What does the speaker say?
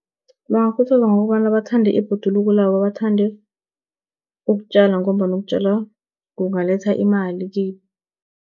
Bangakhuthazwa ngokobana bathande ibhoduluko labo, bathande ukutjala ngombana ukutjala kungaletha imali kibo.